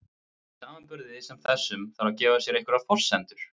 í samanburði sem þessum þarf að gefa sér einhverjar forsendur